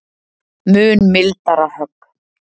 Mun mildara högg